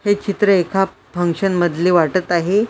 हे चित्र एका फंक्शन मधले वाटत आहे.